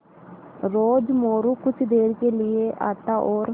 रोज़ मोरू कुछ देर के लिये आता और